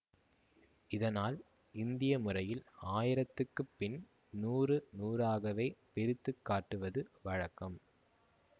இதனால் இந்திய முறையில் ஆயிரத்துக்குப் பின் நூறு நூறாகவே பிரித்து காட்டுவது வழக்கம்